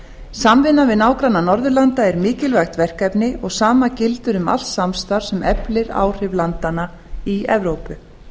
samvinna við nágranna norðurlanda er mikilvægt verkefni og sama gildir um allt samstarf sem eflir áhrif landanna í evrópu